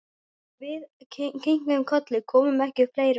Og við kinkuðum kolli, komum ekki upp fleiri orðum.